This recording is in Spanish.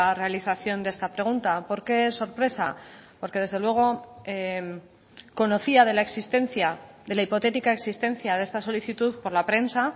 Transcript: realización de esta pregunta por qué es sorpresa porque desde luego conocía de la existencia de la hipotética existencia de esta solicitud por la prensa